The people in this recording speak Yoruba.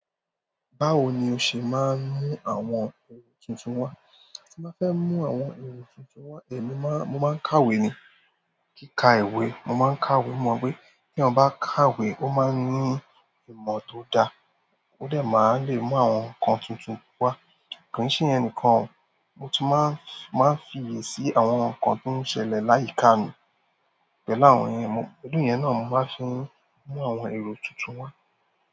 Báwo ni o ṣe máa ń mú àwọn èrò tuntun wá? Tí mo fẹ́ mú àwọn èrò tuntun wá, èmi máa, mo máa ń kàwé ni. Kí ka ìwé, mo máa ń kàwé. Mo mọ pé bí èèyàn kàwé, ó máa ń ní ìmọ̀ tó dáa, ó dà máa lè mú àwọn nǹkan tuntun wá. Kìí ṣe ìyẹn nìkan mo tún máa ń, máa ń fiyèsí àwọn nǹkan tó ń ṣẹlẹ̀ láyìíka mi pẹ̀lú àwọn èèyàn. Òdún yẹn náà la mo máa fi ń mú àwọn èrò tuntun wá.